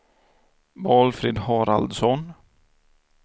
Valfrid Haraldsson